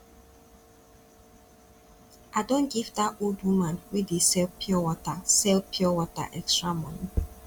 i don give dat old woman wey dey sell pure sell pure water extra money